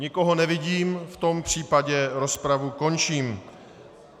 Nikoho nevidím, v tom případě rozpravu končím.